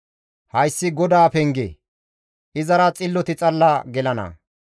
Hayssi GODAA penge; izara xilloti xalla gelana.